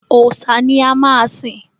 Òòṣà ni a máa sìn.